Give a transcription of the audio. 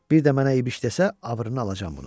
Bir də mənə İbiş desə, abrını alacam bunun.